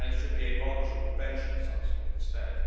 It should be a voluntary convention of some sort instead.